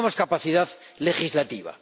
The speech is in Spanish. No tenemos capacidad legislativa.